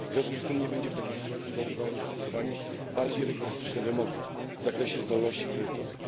W związku z tym nie będą w takiej sytuacji znajdowały zastosowania bardziej rygorystyczne wymogi w zakresie zdolności kredytowej.